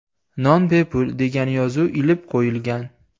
Non bepul” degan yozuv ilib qo‘yilgan.